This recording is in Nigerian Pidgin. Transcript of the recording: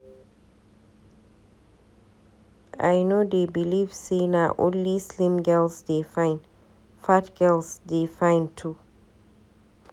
I no dey beliv sey na only slim girls dey fine, fat girls dey fine too.